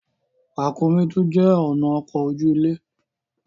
Ràkúnmí tún jé ọnà ọkọ oju-ile.